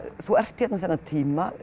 þú ert hérna þennan tíma